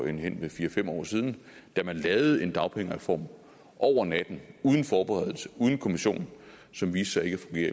hen ved fire fem år siden da man lavede en dagpengereform over natten uden forberedelse uden kommission og som viste